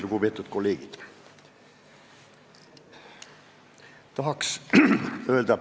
Lugupeetud kolleegid!